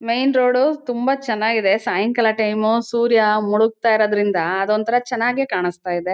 Main road ತುಂಬಾ ಚನ್ನಾಗಿದೆ ಸಾಯಂಕಾಲ ಟೈಮು ಸೂರ್ಯ ಮುಳಾಗ್ತಾ ಇರೋದ್ರಿಂದ ಅದೊಂದ್ ಥರ ಚನಾಗೆ ಕಾಣುಸ್ತಾ ಇದೆ.